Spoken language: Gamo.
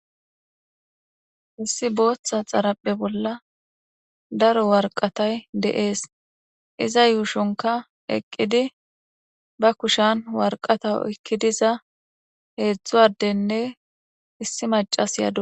Issi booththa xarapphe bolla daro warqatay de7ees iza yuushonka eqqidi ba kushan warqata ekkidiza heedzdzu addenne issi macas yaadu.